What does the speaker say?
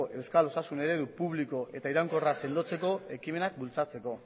euskal osasun eredu publiko eta iraunkorra sendotzeko ekimenak bultzatzeko